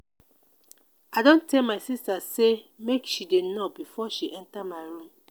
i don tell my sista sey make she dey knock before she enta my room.